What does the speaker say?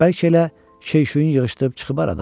Bəlkə elə şey-şüyün yığışdırıb çıxıb aradan?